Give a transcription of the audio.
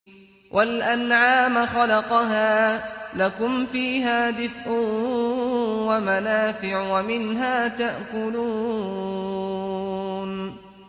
وَالْأَنْعَامَ خَلَقَهَا ۗ لَكُمْ فِيهَا دِفْءٌ وَمَنَافِعُ وَمِنْهَا تَأْكُلُونَ